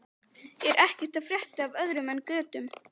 Er ekkert að frétta af öðru en götum?